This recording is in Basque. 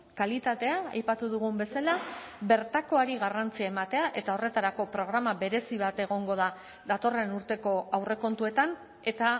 kalitatea aipatu dugun bezala bertakoari garrantzia ematea eta horretarako programa berezi bat egongo da datorren urteko aurrekontuetan eta